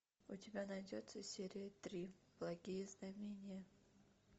у тебя найдется серия три благие знамения